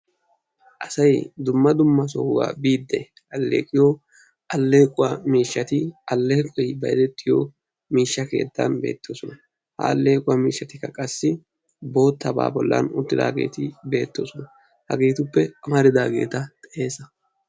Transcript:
Asay dumma dumma sohuwaa bidi alleeqiyo alleequwa miishshati alleeqoy bayzzetiyo miishsha keettan beetosona. Ha alleequwa miishshatikka qassi bootaba bollan uttidageti beetosona. Hageetuppe ammaridageta xeesa?